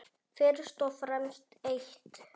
Fyrst og fremst eitt.